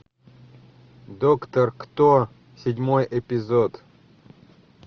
доктор кто седьмой эпизод